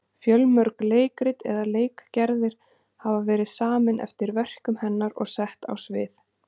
Fjölmörg leikrit eða leikgerðir hafa verið samin eftir verkum hennar og sett á svið.